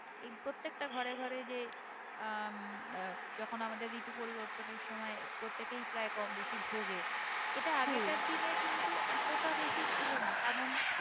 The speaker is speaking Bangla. এই প্রত্যেকটা ঘরে ঘরে যে আহ উম আহ যখন আমাদের ঋতু পরিবর্তনের সময় প্রত্যেকেই প্রায় কম বেশি ভুগে এটা আগেকার দিনে কিন্তু এতটা বেশি ছিল না কারণ